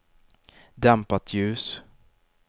dämpat ljus